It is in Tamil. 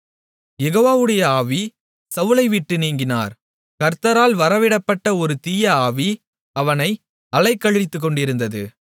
யெகோவாவுடைய ஆவி சவுலை விட்டு நீங்கினார் கர்த்தரால் வரவிடப்பட்ட ஒரு தீய ஆவி அவனை அலைக்கழித்துக்கொண்டிருந்தது